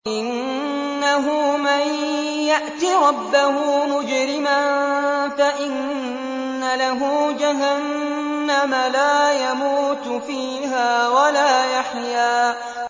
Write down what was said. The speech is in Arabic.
إِنَّهُ مَن يَأْتِ رَبَّهُ مُجْرِمًا فَإِنَّ لَهُ جَهَنَّمَ لَا يَمُوتُ فِيهَا وَلَا يَحْيَىٰ